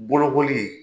Bolokoli